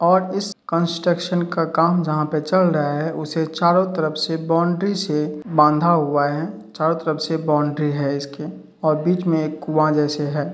और इस कन्स्ट्रक्शन का काम जहां पे चल रहा है उसे चारों तरफ से बॉन्डरी से बांधा हुआ है। चारों तरफ से बॉन्डरी है इसके और बीच में एक कुआ जैसे है।